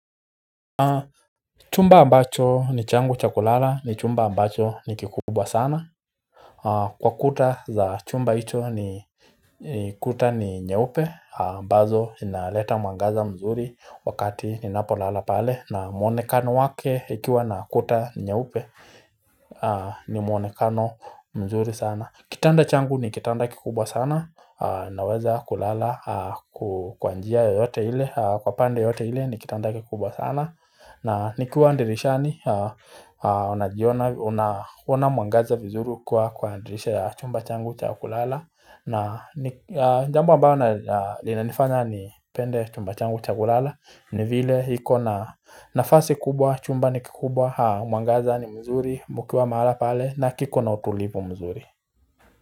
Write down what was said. Chumba ambacho ni changu cha kulala ni chumba ambacho ni kikubwa sana Kwa kuta za chumba icho ni kuta ni nyeupe ambazo inaleta mwangaza mzuri wakati ninapolala pale na mwonekano wake ikiwa na kuta nyeupe ni mwonekano mzuri sana Kitanda changu ni kitanda kikubwa sana Naweza kulala kwa njia yoyote ile Kwa pande yoyote ile ni kitanda kikubwa sana na nikiwa ndirishani Unaona mwangaza vizuri kwa ukiwa kwa dirisha ya chumba changu cha kulala na jambo ambalo linanifanya nipende chumba changu cha kulala ni vile iko na nafasi kubwa chumba ni kikubwa mwangaza ni mzuri mkiwa mahala pale na kiko na utulivu mzuri.